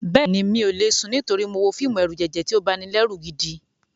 Bẹ́ẹ̀ni, mi ò lè sùn nítorí mo wo fíìmù ẹ̀rùjẹ̀jẹ̀ tí ó banilẹ́rù gidi.